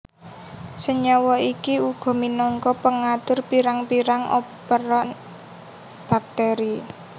Senyawa iki uga minangka pengatur pirang pirang operon bakteri